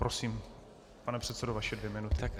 Prosím, pane předsedo, vaše dvě minuty.